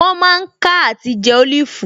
Wọ́n mà ń ká àti jẹ́ Olifu